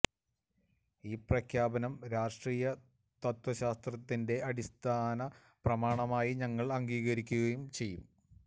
ഈ പ്രഖ്യാപനം രാഷ്ട്രീയ തത്ത്വശാസ്ത്രത്തിന്റെ അടിസ്ഥാന പ്രമാണമായി ഞങ്ങള് അംഗീകരിക്കുകയും ചെയ്തു